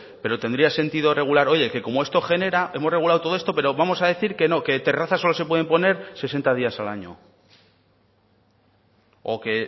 pero tendría sentido regular oye como esto genera hemos regulado todo esto pero vamos a decir que no que terrazas solo se pueden poner sesenta días al año o que